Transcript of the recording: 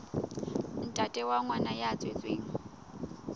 ntate wa ngwana ya tswetsweng